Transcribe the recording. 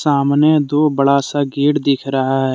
सामने दो बडा सा गेट दिख रहा है।